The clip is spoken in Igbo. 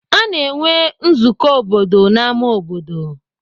Ana enwe nzukọ obodo n'ámá obodo.